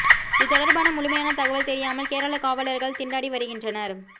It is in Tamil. இது தொடர்பான முழுமையான தகவல் தெரியாமல் கேரள காவலர்கள் திண்டாடி வருகின்றனர்